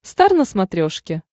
стар на смотрешке